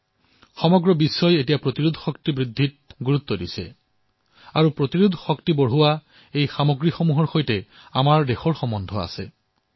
সমগ্ৰ বিশ্বই এই সময়ছোৱাত নিজৰ ৰোগ প্ৰতিৰোধ ক্ষমতা বৃদ্ধিৰ ক্ষেত্ৰত মনোযোগ দিছে আৰু এই ৰোগ প্ৰতিৰোধ ক্ষমতা বৃদ্ধি কৰা সামগ্ৰীসমূহ আমাৰ দেশত আছে